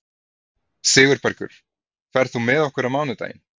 Sigurbergur, ferð þú með okkur á mánudaginn?